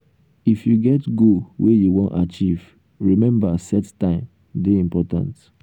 if you get goal wey you wan achieve remember set time dey important.